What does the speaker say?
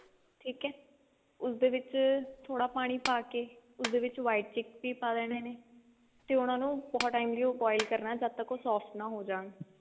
ਠੀਕ ਹੈ ਉਸਦੇ ਵਿੱਚ ਥੋੜਾ ਪਾਣੀ ਪਾਕੇ ਉਸਦੇ ਵਿੱਚ white chickpea ਪਾ ਦੇਣੇ ਨੇ ਤੇ ਉਹਨਾਂ ਨੂੰ ਬਹੁਤ time ਲਈ boil ਕਰਨਾ ਜਦ ਤੱਕ ਉਹ ਸੋਫਟ ਨਾ ਜਾਣਾ